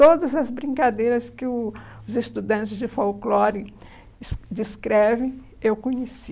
Todas as brincadeiras que o os estudantes de folclore des descrevem, eu conheci.